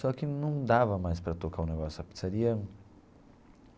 Só que não dava mais para tocar o negócio da pizzaria.